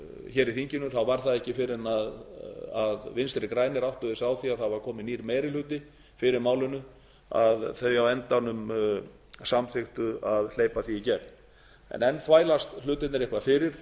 í þinginu var það ekki fyrr en vinstri grænir áttuðu sig á því að það var kominn nýr meiri hluti fyrir málinu að þau á endanum samþykktu að hleypa því í gegn en enn þvælast hlutirnir eitthvað fyrir